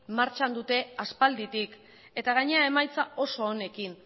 martxan dute aspalditik eta gainera emaitza oso onekin